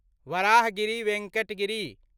Varahagiri Venkat Giri